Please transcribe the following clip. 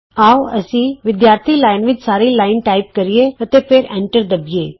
ਆਉ ਅਸੀਂ ਵਿਦਿਆਰਥੀ ਲਾਈਨ ਵਿਚ ਸਾਰੀ ਲਾਈਨ ਟਾਈਪ ਕਰੀਏ ਅਤੇ ਫਿਰ ਐਂਟਰ ਦਬੀਏ